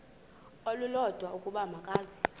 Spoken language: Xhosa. olulodwa ukuba makeze